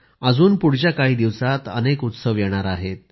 अजून पुढच्या काही दिवसात अनेक उत्सव येणार आहेत